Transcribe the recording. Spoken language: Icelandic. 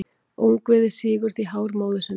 Ungviðið sýgur því hár móður sinnar.